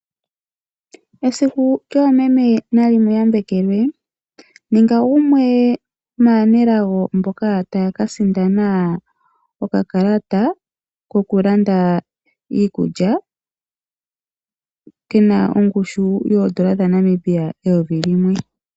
Esiku lyoomeme nali mu yambekelwe. Ninga gumwe maanelago mboka tayaka sindana okakalata kokulanda iikulya kena ongushu yoondola dhaNamibia eyovi limwe.